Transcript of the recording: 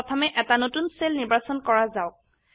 প্ৰথমে এটা নতুন সেল নিৰ্বাচন কৰা যাওক